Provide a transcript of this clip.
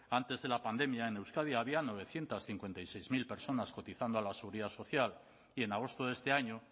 antes de la pandemia en euskadi había novecientos cincuenta y seis mil personas cotizando a la seguridad social y en agosto de este año